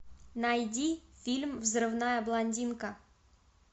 найди фильм взрывная блондинка